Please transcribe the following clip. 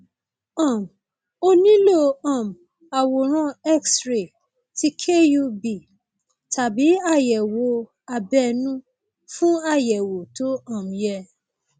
um o nílò um àwòrán xray ti kub tàbí àyẹwò abẹnú fún àyẹwò tó um yẹ